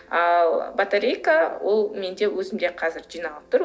ал батарейка ол менде өзімде қазір жиналып тұр